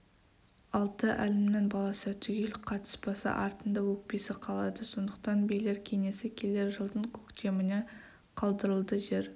алты әлімнің баласы түгел қатыспаса артында өкпесі қалады сондықтан билер кеңесі келер жылдың көктеміне қалдырылды жер